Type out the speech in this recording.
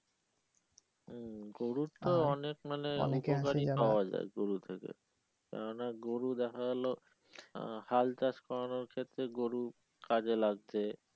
হম গরুর তো অনেক মানে উপকারই পাওয়া যায় গরু থেকে কেননা গরু দেখা গেলো হাল চাষ করানোর ক্ষেত্রে গরু কাজে লাগছে।